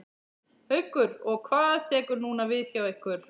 Haukur: Og hvað tekur núna við hjá ykkur?